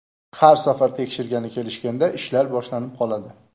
Har safar tekshirgani kelishganda ishlar boshlanib qoladi.